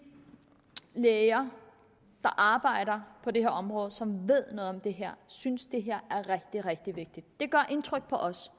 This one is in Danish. læger der arbejder på det her område og som ved noget om det her synes at det her er rigtig rigtig vigtigt det gør indtryk på os